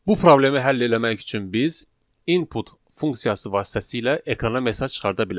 Bu problemi həll eləmək üçün biz input funksiyası vasitəsilə ekrana mesaj çıxarda bilərik.